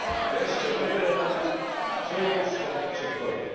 wreszcie nowy element czują strach przed wojną.